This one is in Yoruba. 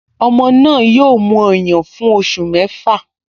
Ọmọ náà yóò mu ọyàn fún oṣù mẹ́fà